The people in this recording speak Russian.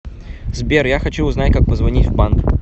сбер я хочу узнать как позвонить в банк